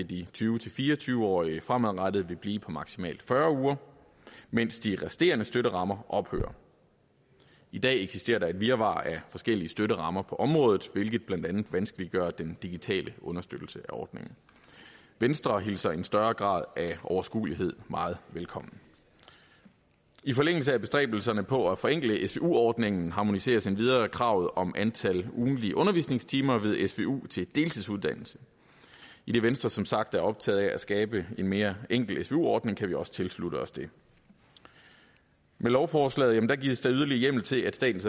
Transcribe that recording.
de tyve til fire og tyve årige fremadrettet vil blive på maksimalt fyrre uger mens de resterende støtterammer ophører i dag eksisterer der et virvar af forskellige støtterammer på området hvilket blandt andet vanskeliggør den digitale understøttelse af ordningen venstre hilser en større grad af overskuelighed meget velkommen i forlængelse af bestræbelserne på at forenkle svu ordningen harmoniseres endvidere kravet om antal ugentlige undervisningstimer ved svu til deltidsuddannelse idet venstre som sagt er optaget af at skabe en mere enkel svu ordning kan vi også tilslutte os det med lovforslaget gives yderligere hjemmel til at statens